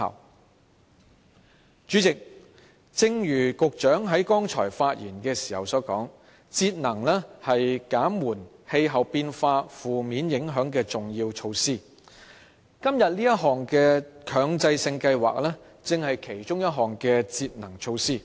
代理主席，正如局長剛才發言時所說，節能是減緩氣候變化負面影響的重要措施，而今天這項強制性標籤計劃，正是其中一項節能措施。